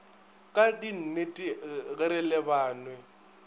ka dinnete ge re lebanwe